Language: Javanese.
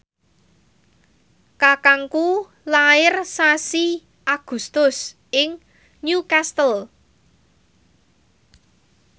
kakangku lair sasi Agustus ing Newcastle